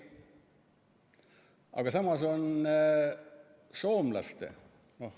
Aga samas on soomlastel ...